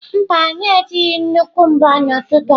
Mba, anyị ejighị nnukwu mbo n'ụtụtụ a.